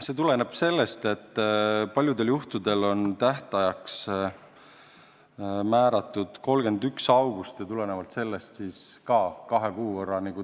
See tuleneb sellest, et paljudel juhtudel on tähtajaks määratud 31. august ja tulenevalt sellest lükatakse tähtaeg kahe kuu võrra edasi.